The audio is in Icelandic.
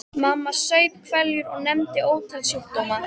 Mamma saup hveljur og nefndi ótal sjúkdóma.